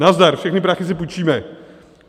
Nazdar, všechny prachy si půjčíme.